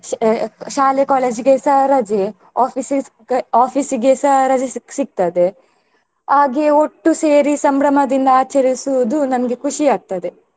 ಶಾಲೆ college ಗೆಸ ರಜೆ~ office office ಗೆಸ ರಜೆ ಸಿಗ್~ ಸಿಗ್ತದೆ ಹಾಗೆ ಒಟ್ಟು ಸೇರಿ ಸಂಭ್ರಮದಿಂದ ಆಚರಿಸುವುದು ನಮ್ಗೆ ಖುಷಿ ಆಗ್ತದೆ.